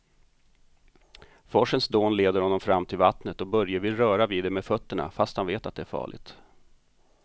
Forsens dån leder honom fram till vattnet och Börje vill röra vid det med fötterna, fast han vet att det är farligt.